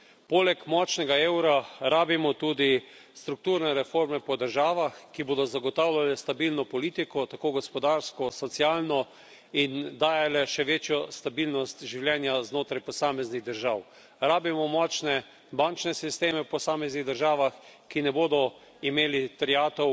Poleg močnega eura potrebujemo tudi strukturne reforme po državah, ki bodo zagotavljale stabilno politiko, tako gospodarsko kot socialno, in dajale še večjo stabilnost življenju znotraj posameznih držav. Potrebujemo močne bančne sisteme v posameznih državah, ki ne bodo imeli terjatev